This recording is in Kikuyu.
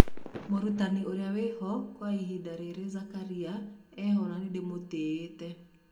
Mũrutani ũrĩa wĩho kwa ihinda rĩrĩ Zakaria eho na nĩndĩmũtĩyĩte.